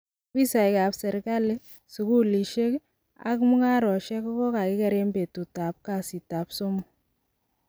Obisisiek ab serikali, sugulisiek ak mugaarosiek kogokakigeer en betut ab kasiit ab somok.